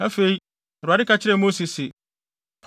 Afei, Awurade ka kyerɛɛ Mose se,